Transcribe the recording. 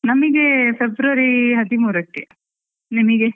ನಮಿಗೆ February ಹದಿಮೂರಕ್ಕೆ ನಿಮಿಗೆ?